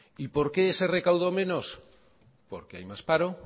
y por qué se recaudo menos porque hay más paro